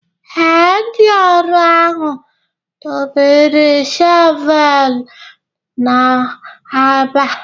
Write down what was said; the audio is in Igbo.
Ee, ndị ọrụ ahụ dobere shọvel ha ebe a.